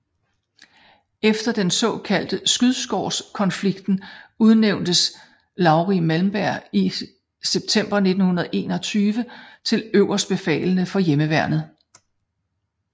Efter den såkaldte skyddskårskonflikten udnævntes Lauri Malmberg i september 1921 til øverstbefalende over hjemmeværnet